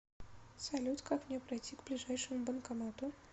салют как мне пройти к ближайшему банкомату